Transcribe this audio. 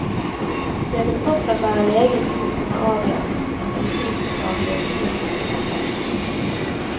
Det vil fortsatt være legens ord som er avgjørende når medisinskfaglige beslutninger skal tas.